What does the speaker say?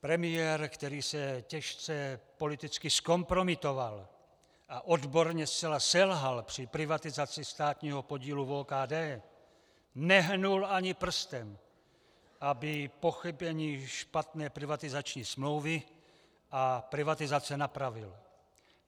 Premiér, který se těžce politicky zkompromitoval a odborně zcela selhal při privatizaci státního podílu v OKD, nehnul ani prstem, aby pochybení špatné privatizační smlouvy a privatizace napravil.